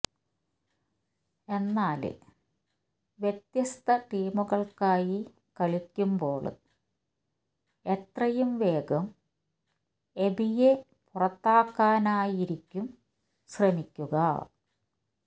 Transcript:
എന്നാല് വ്യത്യസ്ത ടീമുകള്ക്കായി കളിക്കുമ്പോള് എത്രയും വേഗം എബിയെ പുറത്താക്കാനായിരിക്കും ശ്രമിക്കുക